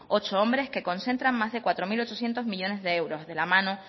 ocho hombres que concentran más de cuatro mil ochocientos millónes de euros de la mano